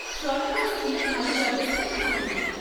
সরকারি স্কুলে ভালো ব্যবস্থাই থাকে।